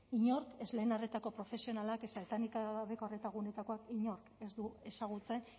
inork ez lehen arretako profesionalak ez etenik gabeko arreta gunetakoak inork ez du ezagutzen